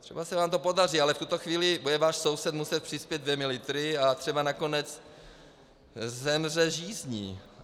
Třeba se vám to podaří, ale v tuto chvíli bude váš soused muset přispět dvěma litry a třeba nakonec zemře žízní.